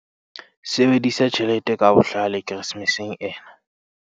Sebedisa tjhelete ka bohlale Keresemeseng ena